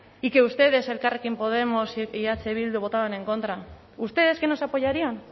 y que ustedes elkarrekin podemos y eh bildu votaron en contra ustedes que nos apoyarían